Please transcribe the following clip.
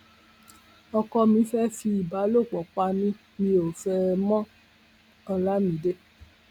ọkọ mi fẹẹ fi ìbálòpọ pa mí mi ò fẹ ẹ mọolamide